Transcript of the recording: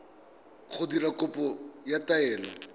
go dira kopo ya taelo